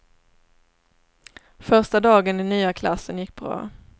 Första dagen i nya klassen gick bra.